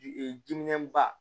diminɛn ba